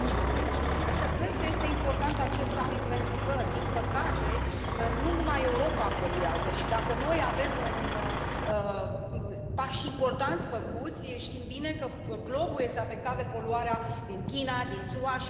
2050. Însă cred că acest summit este important pentru că, din păcate, nu numai Europa poluează și, dacă noi avem pași importanți făcuți, știm bine că globul este afectat de poluarea din China, din SUA...